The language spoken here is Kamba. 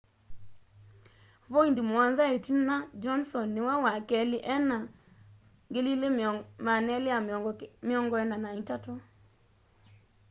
voindi muonza itina johnson niwe wa keli ena 2,243